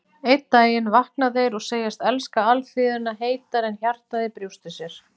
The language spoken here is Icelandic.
Einn daginn vakna þeir og segjast elska alþýðuna heitar en hjartað í brjósti sér.